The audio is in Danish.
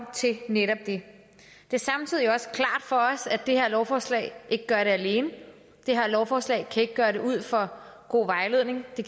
til netop det det er samtidig også klart for os at det her lovforslag ikke gør det alene det her lovforslag kan ikke gøre det ud for god vejledning det